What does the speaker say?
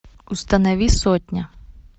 установи сотня